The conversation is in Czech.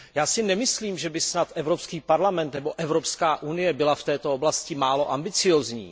Já si nemyslím, že by snad Evropský parlament nebo Evropská unie byly v této oblasti málo ambiciózní.